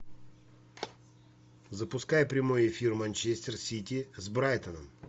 запускай прямой эфир манчестер сити с брайтоном